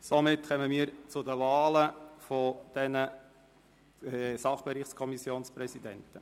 Somit kommen wir zu den Wahlen der Sachbereichskommissionspräsidenten.